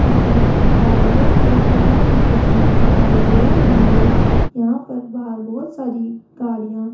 किसी कार्यालय के बाहर की तस्वीर दिखाई दे रही है यहां पर बाहर बहोत सारी गाड़ियां --